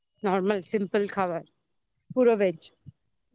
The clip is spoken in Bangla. নরমাল simple খাওয়ার পুরো bhej